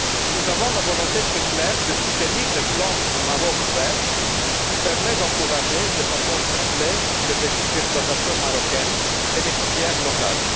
Nous avons la volonté très claire de soutenir le plan Maroc vert qui permet d'encourager de façon ciblée les petites exploitations marocaines et les filières locales.